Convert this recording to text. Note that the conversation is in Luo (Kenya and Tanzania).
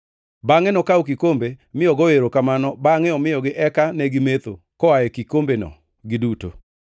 Bangʼe nokawo kikombe, mi ogoyo erokamano bangʼe omiyogi eka negimetho koa e kikombeno giduto.